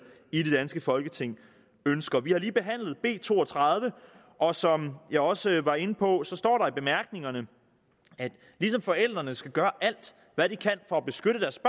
i det danske folketing ønsker vi har lige behandlet b to og tredive og som jeg der også var inde på står der i bemærkningerne at ligesom forældrene skal gøre alt hvad de kan for at beskytte deres